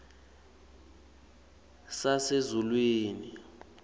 sasezulwini